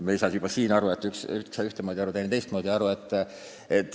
Me ei saanud juba siin kõigest samamoodi aru, üks sai aru ühtemoodi, teine teistmoodi.